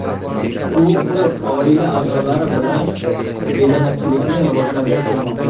U o‘z oila a’zolari bilan bedanachilikni rivojlantirib kelmoqda.